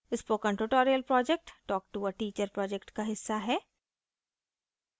spoken tutorial project talk to a teacher project का हिस्सा है